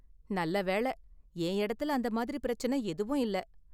நல்ல வேளை, என் இடத்துல அந்த மாதிரி பிரச்சினை எதுவும் இல்ல.